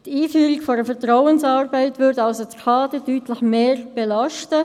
Die Einführung einer Vertrauensarbeitszeit würde also das Kader deutlich mehr belasten.